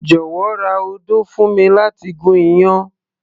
jọ̀wọ́ ra odó fún mi láti gún iyán